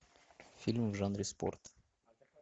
фильм в жанре спорт